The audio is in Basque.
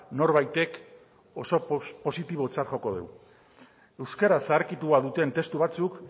norbaitek oso positibotzat joko du euskara zaharkitua duten testu batzuk